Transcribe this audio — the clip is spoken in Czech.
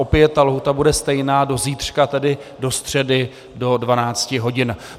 Opět ta lhůta bude stejná do zítřka, tedy do středy, do 12 hodin.